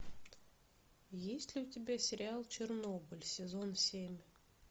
есть ли у тебя сериал чернобыль сезон семь